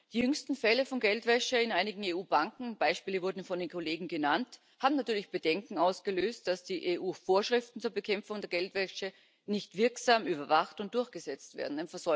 Die jüngsten Fälle von Geldwäsche in einigen EU Banken Beispiele wurden von den Kollegen genannt haben natürlich Bedenken ausgelöst, dass die EU Vorschriften zur Bekämpfung der Geldwäsche nicht wirksam überwacht und durchgesetzt werden.